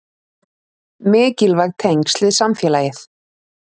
Mikilvæg tengsl við samfélagið